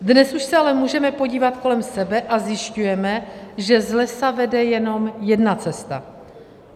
Dnes už se ale můžeme podívat kolem sebe a zjišťujeme, že z lesa vede jenom jedna cesta.